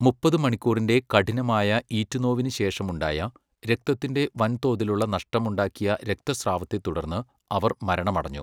മുപ്പത് മണിക്കൂറിൻ്റെ കഠിനമായ ഈറ്റുനോവിനുശേഷം ഉണ്ടായ, രക്തത്തിൻ്റെ വൻതോതിലുള്ള നഷ്ടമുണ്ടാക്കിയ രക്തസ്രാവത്തെത്തുടർന്ന് അവർ മരണമടഞ്ഞു.